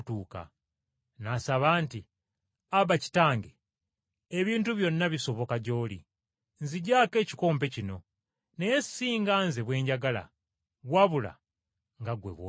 N’asaba nti, “Aba, Kitange, ebintu byonna bisoboka gy’oli. Nzigyako ekikompe kino. Naye si nga Nze bwe njagala, wabula nga ggwe bw’oyagala.”